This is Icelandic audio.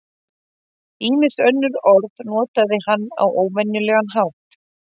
Ýmis önnur orð notaði hann á óvenjulegan hátt.